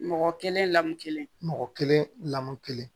Mɔgɔ kelen lamɔ kelen mɔgɔ kelen lamɔ kelen